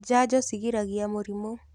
Janjo cigiragĩria mĩrimũ.